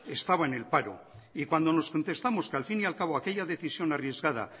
estaba en el paro y cuando nos contestamos que al fin y al cabo aquella decisión arriesgada